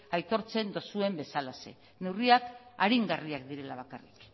aitortzen duzuen bezalaxe neurriak aringarriak direla bakarrik